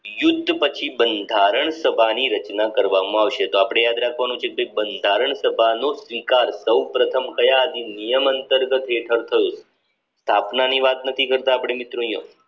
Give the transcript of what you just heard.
યુદ્ધ પછી બંધારણ સભાની રચના કરવામાં આવશે તો આપણે યાદ રાખવાનું છે બંધારણ સભાનું સ્વીકાર સૌપ્રથમ કયા અધિનિયમ અંતર્ગત હેઠળ થયું સ્થાપનાની વાત નથી કરતા આપણે મિત્રો